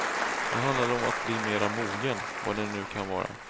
Det handlade om att bli mera mogen, vad det nu kan vara.